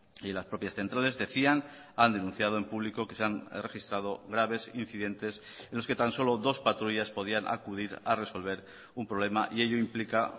y las propias centrales decían han denunciado en público que se han registrado graves incidentes en los que tan solo dos patrullas podían acudir a resolver un problema y ello implica